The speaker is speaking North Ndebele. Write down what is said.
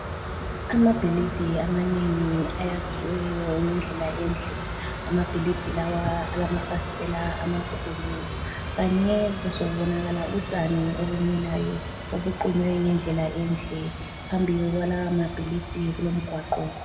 Amabhilidi amanengi ayakhiweyo ngendlela enhle. Amabhilidi lawa alamafasitela amakhulu kanye kuzobonakala utshani obumilayo obuqunywe ngendlela enhle. Phambili kwalawa mabhilidi kulomgwaqo.